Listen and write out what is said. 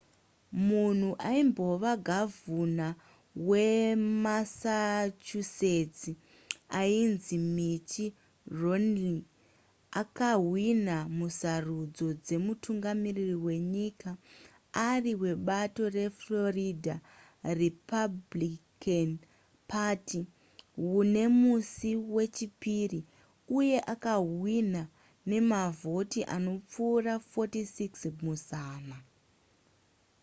munhu aimbova gavhuna wemassachusetts ainzi mitt romney akahwina musarudzo dzemutungamiriri wenyika ari webato reflorida republican party nemusi wechipiri uye akahwina nemavhoti anopfuura 46 muzana